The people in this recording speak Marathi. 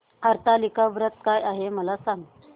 हरतालिका व्रत काय आहे मला सांग